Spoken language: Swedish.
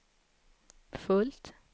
fullt